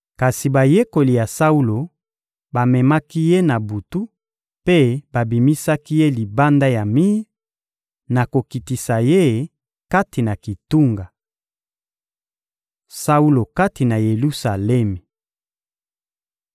Kasi bayekoli ya Saulo bamemaki ye na butu mpe babimisaki ye libanda ya mir, na kokitisa ye kati na kitunga. Saulo kati na Yelusalemi